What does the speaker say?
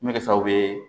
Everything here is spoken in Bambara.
N bɛ kɛ sababu ye